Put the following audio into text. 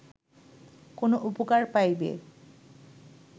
কোন উপকার পাইবে